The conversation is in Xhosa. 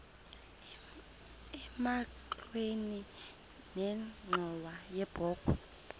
emagxeni nenxhowa yebokhwe